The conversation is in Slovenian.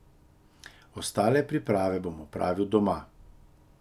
Ostale priprave bom opravil doma.